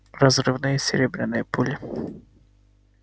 разрывные серебряные пули